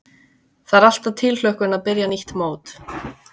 Það er alltaf tilhlökkun að byrja nýtt mót.